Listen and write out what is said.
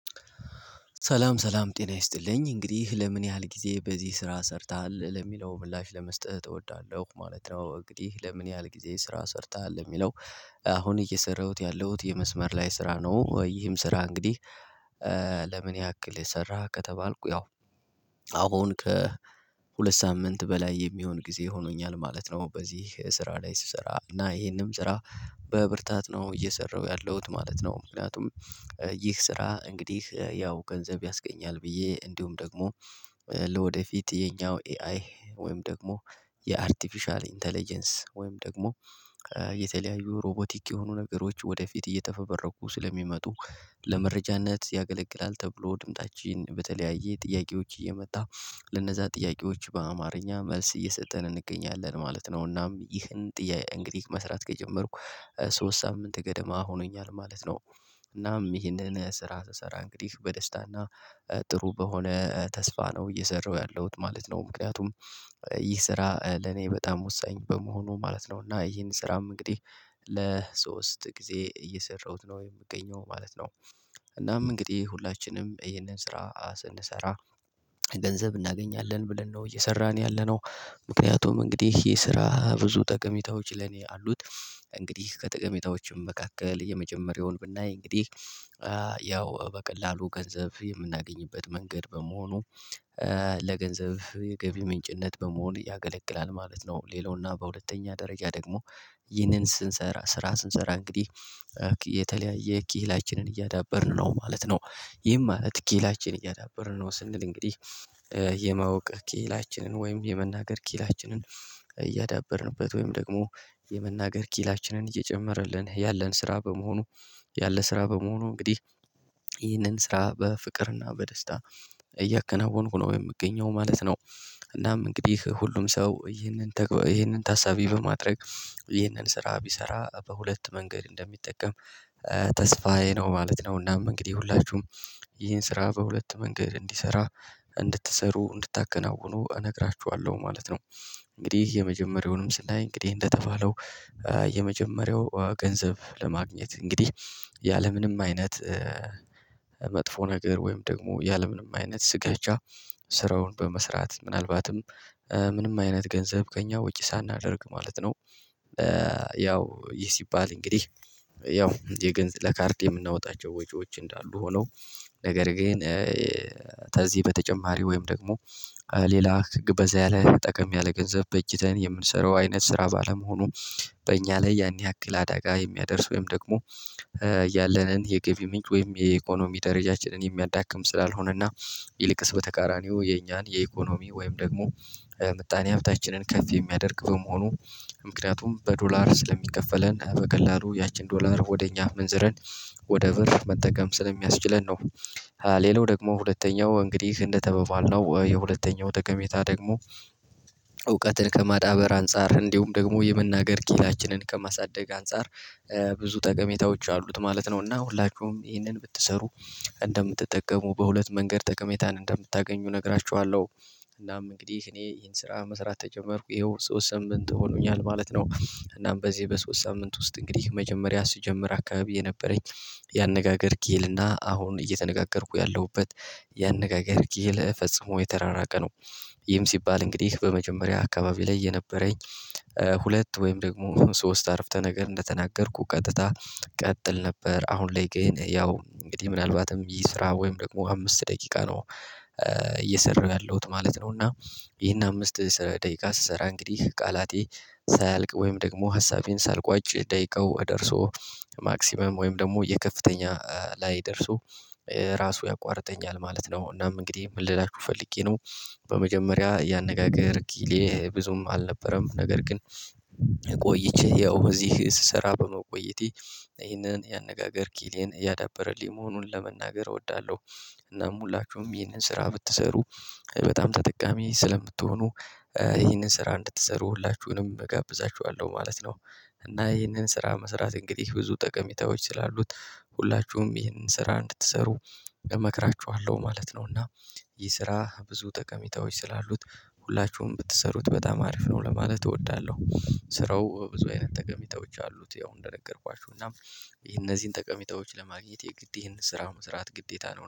ሰላም ሰላም ጤና ይስጥልኝ እንግዲህ ለምን ያህል ጊዜ በዚህ ስራ ሰርተሃል ለሚለው ምላሽ ለመስጠት እወዳለሁ ማለት ነው። እንግዲህ ለምን ያህል ጊዜ ስራ ሰርተሃል የሚለው? አሁን እየሰራሁት ያለሁት የመስመር ላይ ስራ ነው። ይህም ስራ እንግዲህ ለምን ያክል የሰራህ ከተባልኩ ያው አሁን ከሁለት ሳምንት በላይ የሚሆን ጊዜ ሆኖኛል ማለት ነው። በዚህ ስራ ላይ ስሰራ እና ይሄንም ስራ። በብርታት ነው እየሰራሁ ያለሁት ማለት ነው። ምክንያቱም ይህ ስራ እንግዲህ ያው ገንዘብ ያስገኛል ብዬ እንዲሁም ደግሞ። ለወደፊት የኛው ኤአይ ወይም ደግሞ የአርቲፊሻል ኢንተለጀንስ ወይም ደግሞ የተለያዩ ሮቦቲክ የሆኑ ነገሮች ወደፊት እየተፈበረኩ ስለሚመጡ ለመረጃነት ያገለግላል ተብሎ ድምፃችን በተለያየ ጥያቄዎች እየመጣ ለነዛ ጥያቄዎች በአማርኛ መልስ እየሰጠን እንገኛለን ማለት ነው። እናም ይህን ጥያቄ እንግዲህ መስራት ከጀመርኩ ሶስት ሳምንት ገደማ ሆኖኛል ማለት ነው። እናም ይሄንን ስራ ስሰራ እንግዲህ በደስታ እና ጥሩ በሆነ ተስፋ ነው እየሰራሁ ያለሁት ማለት ነው። ምክንያቱም ይህ ስራ ለኔ በጣም ወሳኝ በመሆኑ ማለት ነው። እና ይሄን ስራም እንግዲህ ለሶስት ጊዜ እየሰራሁት ነው የምገኘው ማለት ነው። እናም እንግዲህ ሁላችንም ይሄንን ስራ ስንሰራ ገንዘብ እናገኛለን ብለን ነው እየሰራን ያለነው። ምክንያቱም እንግዲህ ይሄ ስራ ብዙ ጠቀሜታዎች ለኔ አሉት። እንግዲህ ከጥቅሜታዎችም መካከል የመጀመሪያውን ብናይ እንግዲህ ያው በቀላሉ ገንዘብ የምናገኝበት መንገድ በመሆኑ ለገንዘብ የገቢ ምንጭነት በመሆን ያገለግላል ማለት ነው። ሌላውና በሁለተኛ ደረጃ ደግሞ ይህንን ስንሰራ ስራ ስንሰራ እንግዲህ የተለያየ ኪላችንን እያዳበርን ነው ማለት ነው። ይህም ማለት ኪላችን እያዳበርን ነው ስንል እንግዲህ የማወቅ ኪህላችንን ወይም የመናገር ኪላችንን እያዳበርንበት ወይም ደግሞ የመናገር ኪላችንን እየጨመረልን ያለን ስራ በመሆኑ ያለ ስራ በመሆኑ እንግዲህ ይህንን ስራ በፍቅርና በደስታ እያከናወንኩ ነው የምገኘው ማለት ነው። እናም እንግዲህ ሁሉም ሰው ይህንን ተገበይ ይሄንን ታሳቢ በማድረግ ይሄንን ስራ ቢሰራ በሁለት መንገድ እንደሚጠቀም ተስፋዬ ነው ማለት ነው። እና እንግዲህ ሁላችሁም ይህን ስራ በሁለት መንገድ እንዲሰራ እንድትሰሩ እንድታከናውኑ እነግራችኋለሁ ማለት ነው። እንግዲህ የመጀመሪያውንም ስናይ እንግዲህ እንደተባለው የመጀመሪያው ገንዘብ ለማግኘት እንግዲህ ያለምንም አይነት መጥፎ ነገር ወይም ደግሞ ያለምንም አይነት ስጋቻ ስራውን በመስራት ምናልባትም ምንም አይነት ገንዘብ ከእኛ ወጪ ሳናደርግ ማለት ነው። ያው ይህ ሲባል እንግዲህ ያው የገንዘብ ለካርድ የምናወጣቸው ወጪዎች እንዳሉ ሆነው ነገር ግን። ተዚህ በተጨማሪ ወይም ደግሞ ሌላ ግብ በዛ ያለ ጠቀም ያለ ገንዘብ በእጅተን የምንሰራው አይነት ስራ ባለመሆኑ በእኛ ላይ ያን ያክል አደጋ የሚያደርስ ወይም ደግሞ ያለንን የገቢ ምንጭ ወይም የኢኮኖሚ ደረጃችንን የሚያዳክም ስላልሆነ እና ይልቅስ በተቃራኒው የኛን የኢኮኖሚ ወይም ደግሞ ምጣኔ ሀብታችንን ከፍ የሚያደርግ በመሆኑ ምክንያቱም በዶላር ስለሚከፈለን በቀላሉ ያችን ዶላር ወደ እኛ ምንዝረን ወደ ብር መጠቀም ስለሚያስችለን ነው። ሌላው ደግሞ ሁለተኛው እንግዲህ እንደተባባልነው የሁለተኛው ጠቀሜታ ደግሞ እውቀትን ከማዳበር አንፃር እንዲሁም ደግሞ የመናገር ኪላችንን ከማሳደግ አንፃር ብዙ ጠቀሜታዎች አሉት ማለት ነው። እና ሁላችሁም ይህንን ብትሰሩ እንደምትጠቀሙ በሁለት መንገድ ጠቀሜታን እንደምታገኙ እነግራቹሀለሁ። እናም እንግዲህ እኔ ይሄን ስራ መስራት ከጀመርኩ ይኸው ሶስት ሳምንት ሆኖኛል ማለት ነው። እናም በዚህ በሶስት ሳምንት ውስጥ እንግዲህ መጀመሪያ ሲጀምር አካባቢ የነበረኝ ያነጋገር ኪሂል እና አሁን አሁን እየተነጋገርኩ ያለሁበት ያነጋገር ኪሂል ፈጽሞ የተራራቀ ነው። ይህም ሲባል እንግዲህ በመጀመሪያ አካባቢ ላይ የነበረኝ ሁለት ወይም ደግሞ ሶስት አረፍተ ነገር እንደተናገርኩ ቀጥታ ቀጥል ነበር አሁን ላይ ግን ያው እንግዲህ ምናልባትም ይህ ስራ ወይም ደግሞ አምስት ደቂቃ ነው። እየሰራሁ ያለሁት ማለት ነው እና። ይሄን አምስት ደቂቃ ስሰራ እንግዲህ ቃላቴ ሳያልቅ ወይም ደግሞ ሀሳቤን ሳልቋጭ ደቂቃው ደርሶ ማክሲመም ወይም ደግሞ የከፍተኛ ላይ ደርሶ ራሱ ያቋርጠኛል ማለት ነው። እናም እንግዲህ ምን ልላችሁ ፈልጌ ነው? በመጀመሪያ ያነጋገር ኪሌ ብዙም አልነበረም ነገር ግን ቆይቼ ያው እዚህ ስሰራ በመቆየቴ ይህንን ያነጋገር ኪሌን እያዳበረልኝ መሆኑን ለመናገር እወዳለሁ። እናም ሁላችሁም ይህንን ስራ ብትሰሩ በጣም ተጠቃሚ ስለምትሆኑ ይህንን ስራ እንድትሰሩ ሁላችሁንም እጋብዛችኋለሁ ማለት ነው። እና ይህንን ስራ መስራት እንግዲህ ብዙ ጠቀሜታዎች ስላሉት ሁላችሁም ይህንን ስራ እንድትሰሩ እመክራቹሀለሁ ማለት ነው። እና ይህ ስራ ብዙ ጠቀሚታዎች ስላሉት ሁላችሁም ብትሰሩት በጣም አሪፍ ነው ለማለት እወዳለሁ። ስራው ብዙ አይነት ተቀሜታዎች አሉት ያው እንደነገርኳችሁ እና ይሄ እነዚህን ጠቀሚታዎች ለማግኘት የግድ ይሄን ስራ መስራት ግዴታ ነው